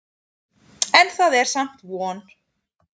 En það er samt von.